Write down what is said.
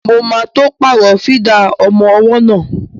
Mo ma tó pàrọ̀ fídà ọmọ ọwọ́ náà